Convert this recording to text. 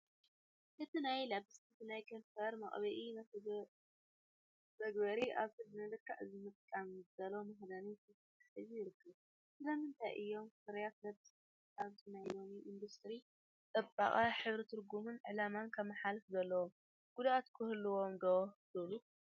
እቲ ናይ ልፕስቲክ ናይ ከንፈር መቕብኢ/መተግበሪ ኣብቲ ንልክዕ ምጥቃም ዝተዳለወ መኽደኒ ተተሓሒዙ ይርከብ። ስለምንታይ እዮም ፍርያት ልፕስቲክ ኣብዚ ናይ ሎሚ ኢንዱስትሪ ጽባቐ ሕብሪ ትርጉምን ዕላማን ከመሓላልፉ ዘለዎም፣ ጉድኣት ከ ይህልዎም ዶ ትብሉ?